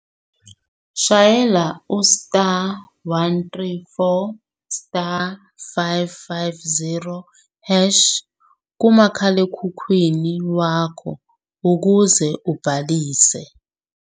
Shayela u-*134*550# kumakhalekhukhwini wakho ukuze ubhalise.